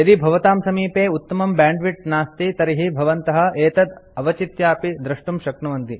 यदि भवतां समीपे उत्तमं बैंडविड्थ नास्ति तर्हि भवन्तः एतत् अवचित्यापि डाउनलोड द्रष्टुं शक्नुवन्ति